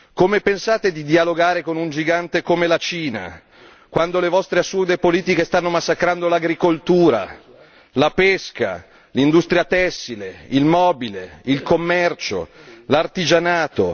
Come pensate di dialogare con un gigante come la Cina, quando le vostre assurde politiche stanno massacrando l'agricoltura, la pesca, l'industria tessile, il mobile, il commercio, l'artigianato?